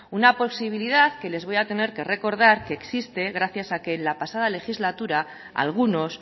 una posibilidad que les voy a tener que recordar que existe gracias a que en la pasada legislatura algunos